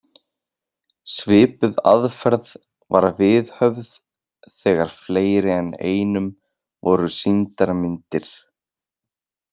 Svipuð aðferð var viðhöfð þegar fleiri en einum voru sýndar myndir.